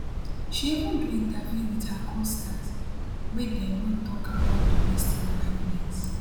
she even do interview wit her costars wey dem no tok about domestic violence